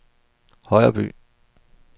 Højreby